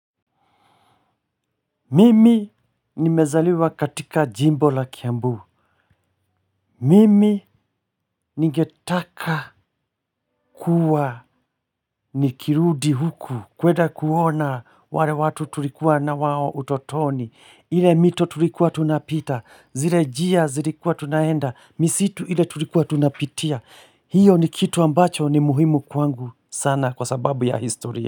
Mimi nimezaliwa katika jimbo la kiambu. Mimi ningetaka kuwa nikirudi huku. Kweda kuona wale watu tulikuwa na wao utotoni. Ile mito tulikuwa tunapita. Zile njia zilikuwa tunaenda. Misitu ile tulikuwa tunapitia. Hiyo ni kitu ambacho ni muhimu kwangu sana kwa sababu ya historia.